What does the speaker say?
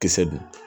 Kisɛ dun